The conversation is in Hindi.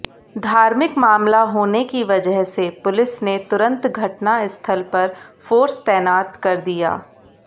धार्मिक मामला होने की वजह से पुलिस ने तुरंत घटनास्थल पर फोर्स तैनात कर दिया